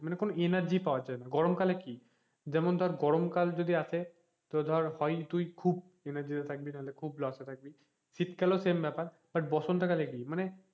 মানে কোনো energy পাওয়া যায়না গরম কালে কি যেমন ধর গরম কাল যদি আসে তোর ধর হয় তুই খুব energy তে থাকবি নাহলে loss এ থাকবি শীত কালেও same ব্যাপার but বসন্ত কালে কি,